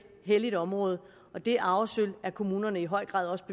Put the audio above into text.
helligt område og det arvesølv er kommunerne i høj grad også